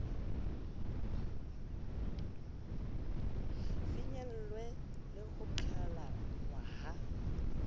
finyellwe le ho qhalanngwa ha